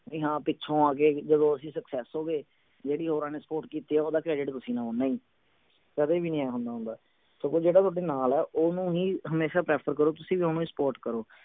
ਵੀ ਪਿੱਛੋਂ ਆ ਕੇ ਜਦੋਂ ਅਸੀਂ success ਹੋ ਗਏ ਜਿਹੜੀ ਹੋਰਾਂ ਨੇ support ਕੀਤੀ ਆ ਓਹਦਾ credit ਤੁਸੀਂ ਕਦੇ ਵੀ ਨਹੀਂ ਆਏਂ ਹੁੰਦਾ ਹੁੰਦਾ ਸਗੋਂ ਜਿਹੜਾ ਥੋਡੇ ਨਾਲ ਆ ਓਹਨੂੰ ਹੀ ਹਮੇਸ਼ਾ prefer ਕਰੋ ਤੁਸੀਂ ਵੀ ਓਹਨੂੰ ਹੀ support ਕਰੋ